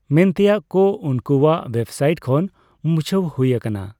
ᱢᱮᱱᱛᱮᱱᱟᱜ ᱠᱚ ᱩᱱᱠᱩᱣᱟᱜ ᱳᱣᱮᱵᱥᱟᱭᱤᱴ ᱠᱷᱚᱱ ᱢᱩᱪᱷᱟᱹᱣ ᱦᱳᱭ ᱟᱠᱟᱱᱟ ᱾